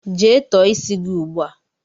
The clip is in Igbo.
Jee tọọ isi gị ugbu a!